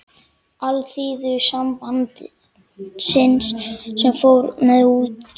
Alþýðusambandsins, sem fór með utanríkismál í Þjóðstjórninni.